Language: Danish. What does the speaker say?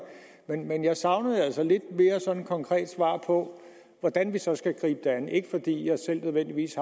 men jeg savnede altså et lidt mere konkret svar på hvordan vi så skal gribe det an ikke fordi jeg nødvendigvis